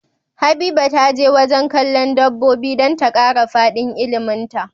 Habiba taje wajan kallon dabobi dan ta kara fadin ilimin ta